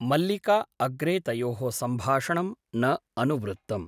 मल्लिका अग्रे तयोः सम्भाषणं न अनुवृत्तम् ।